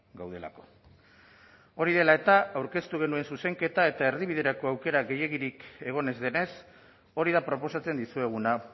gaudelako hori dela eta aurkeztu genuen zuzenketa eta erdibiderako aukera gehiegirik egon ez denez hori da proposatzen dizueguna